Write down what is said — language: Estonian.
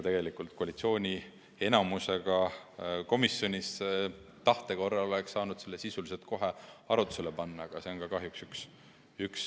Tegelikult koalitsiooni enamusega komisjonis oleks tahte korral saanud selle sisuliselt kohe arutlusele panna, aga.